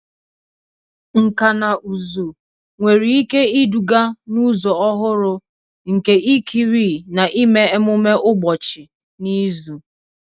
Nkà na ụzụ nwere ike iduga n'ụzọ ọhụrụ nke ikiri na ime ememe ụbọchị n'izu.